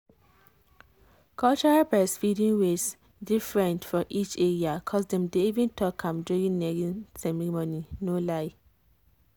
cultural breastfeeding ways different for each area cos dem dey even talk am during naming ceremony no lie.